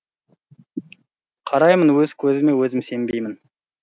қараймын өз көзіме өзім сенбеймін